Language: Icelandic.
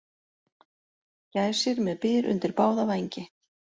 Gæsir með byr undir báða vængi